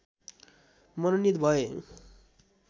मनोनित भए